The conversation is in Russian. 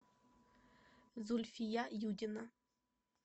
зульфия юдина